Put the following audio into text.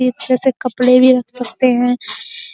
एक जैसे कपडे भी रख सकते हैं।